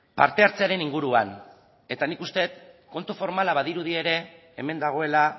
parte hartzearen inguruan eta nik uste dut kontu formala badirudi ere hemen dagoela